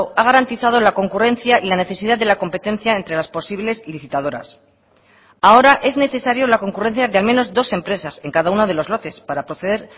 ha garantizado la concurrencia y la necesidad de la competencia entre las posibles licitadoras ahora es necesario la concurrencia de al menos dos empresas en cada uno de los lotes para proceder